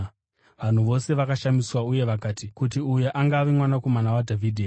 Vanhu vose vakashamiswa uye vakati, “Kuti uyu angava Mwanakomana waDhavhidhi here?”